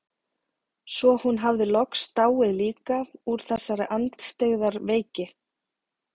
Svo hún hafði loks dáið líka úr þessari andstyggðar veiki.